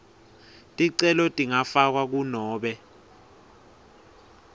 ticelo tingafakwa kunobe